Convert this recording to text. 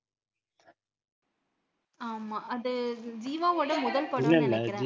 ஆமா அது ஜிவாவோட முதல் படம்னு நினைக்கிறேன்